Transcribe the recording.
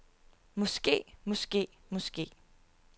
måske måske måske